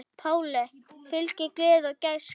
Páli fylgir gleði og gæska.